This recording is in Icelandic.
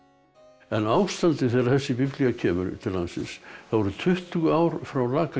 en ástandið þegar þessi biblía kemur til landsins það voru tuttugu ár frá